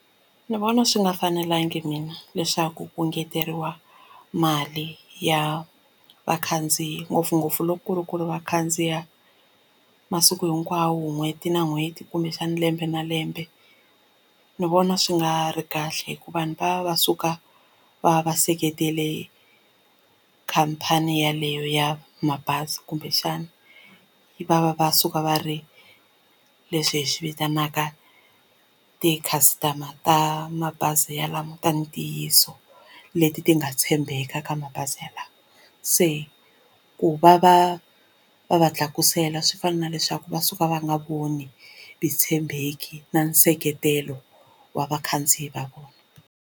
Ndzi vona swi nga fanelangi mina leswaku ku engeteriwa mali ya vakhandziyi ngopfungopfu loko ku ri ku va khandziya masiku hinkwawo n'hweti na n'hweti kumbexana lembe na lembe ndzi vona swi nga ri kahle hi ku vanhu va va suka va va va seketele khampani yaleyo ya mabazi kumbexana va va va suka va ri leswi hi swi vitanaka ti-customer ta mabazi yalawo ta ntiyiso leti ti nga tshembeka ka mabazi yalawo se ku va va va va tlakusela swi fana na leswaku va suka va nga voni vutshembeki na nseketelo wa vakhandziyi va vona.